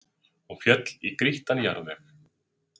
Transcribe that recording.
Hún féll í grýttan jarðveg